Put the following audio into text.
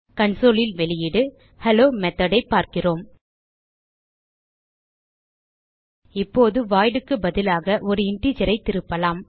console ல் வெளியீடு hello method ஐ பார்க்கிறோம் இப்போது voidக்கு பதிலாக ஒரு இன்டிஜர் ஐ திருப்பலாம்